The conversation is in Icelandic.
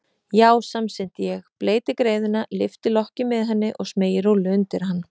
Já, samsinni ég, bleyti greiðuna, lyfti lokki með henni og smeygi rúllu undir hann.